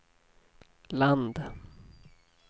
land